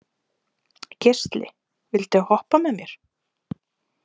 Geisli, viltu hoppa með mér?